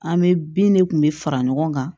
An bɛ bin de kun bɛɛ fara ɲɔgɔn kan